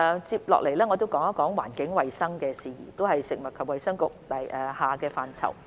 接下來，我談談環境衞生的事宜，這亦是食衞局轄下的範疇。